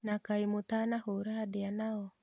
Na kaĩ mũtanahũra ndia nao?